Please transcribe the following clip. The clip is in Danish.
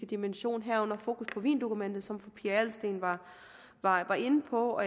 dimension herunder fokus på wiendokumentet som fru pia adelsteen var var inde på